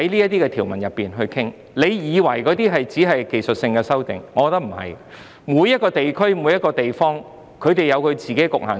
當局以為這些只是技術性修訂，但我認為不是，每個地區或地方有自己的局限性。